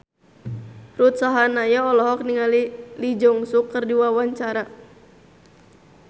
Ruth Sahanaya olohok ningali Lee Jeong Suk keur diwawancara